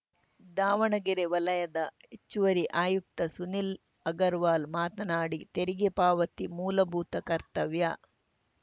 ದಾವಣಗೆರೆ ವಲಯದ ಹೆಚ್ಚುವರಿ ಆಯುಕ್ತ ಸುನಿಲ್‌ ಅಗರವಾಲ್‌ ಮಾತನಾಡಿ ತೆರಿಗೆ ಪಾವತಿ ಮೂಲಭೂತ ಕರ್ತವ್ಯ